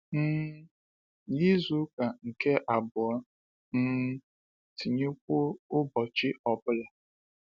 um N’izuka nke abụọ, um tinyekwuo, ụbọchị ọ bụla.